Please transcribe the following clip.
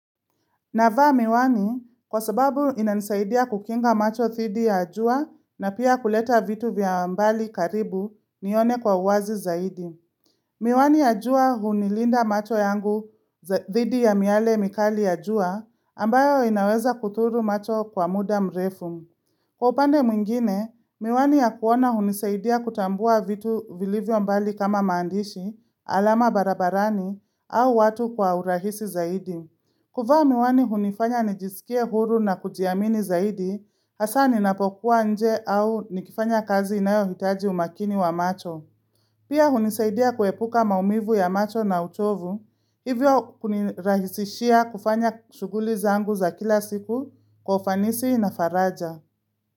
Navaa miwani kwa sababu ina nisaidia kukinga macho thidi ya jua na pia kuleta vitu vya mbali karibu nione kwa uwazi zaidi. Miwani ya jua hunilinda macho yangu thidi ya miale mikali ya jua ambayo inaweza kuthuru macho kwa muda mrefu. Kwa upande mwingine, miwani ya kuona hunisaidia kutambua vitu vili vyo mbali kama maandishi, alama barabarani au watu kwa urahisi zaidi. Kuvaa miwani hunifanya nijisikie huru na kujiamini zaidi, hasa ninapokuwa nje au nikifanya kazi inayo hitaji umakini wa macho. Pia hunisaidia kuepuka maumivu ya macho na uchovu, hivyo kunirahisishia kufanya shuguli zangu za kila siku kwa ufanisi na faraja.